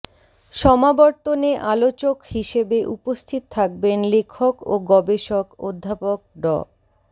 সমাবর্তনে আলোচক হিসেবে উপস্থিত থাকবেন লেখক ও গবেষক অধ্যাপক ড